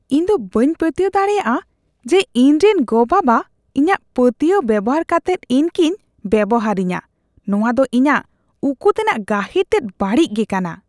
ᱤᱧ ᱫᱚ ᱵᱟᱹᱧ ᱯᱟᱹᱛᱭᱟᱹᱣ ᱫᱟᱲᱮᱭᱟᱜᱼᱟ ᱡᱮ ᱤᱧᱨᱮᱱ ᱜᱚᱼᱵᱟᱵᱟ ᱤᱧᱟᱜ ᱯᱟᱹᱛᱭᱟᱹᱣ ᱵᱮᱣᱦᱟᱨ ᱠᱟᱛᱮᱫ ᱤᱧ ᱠᱤᱱ ᱵᱮᱵᱚᱦᱟᱨᱤᱧᱟ ᱾ ᱱᱚᱣᱟ ᱫᱚ ᱤᱧᱟᱜ ᱩᱠᱩᱛᱮᱱᱟᱜ ᱜᱟᱹᱦᱤᱨ ᱛᱮᱫ ᱵᱟᱹᱲᱤᱡ ᱜᱮ ᱠᱟᱱᱟ ᱾